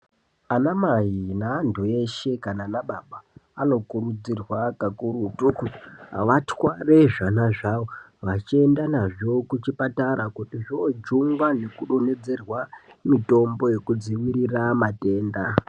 Amai neantu eshe kana ana baba anokurudzirwa kakurutu kuti vatware zvana zvavo vachienda nazvo kuchipatara. Kuti zvoojungwa nekudothedzerwa mitombo yokudzivirira matenda.